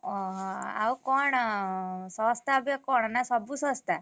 ଓହୋ ଆଉ କଣ ଶସ୍ତା ଅବିକା କଣ ନା ସବୁ ଶସ୍ତା?